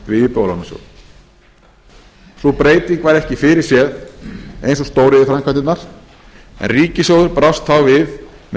við íbúðalánasjóð sú breyting var ekki fyrirséð eins og stóriðjuframkvæmdirnar en ríkissjóður brást þá við með